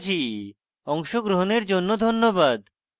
অংশগ্রহনের জন্য ধন্যবাদ